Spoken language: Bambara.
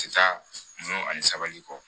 Ti taa mun ani sabali kɔ